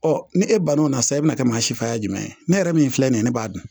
ni e banna o la sisan i bɛna kɛ maa si fa ye jumɛn ye ne yɛrɛ min filɛ nin ye ne b'a dun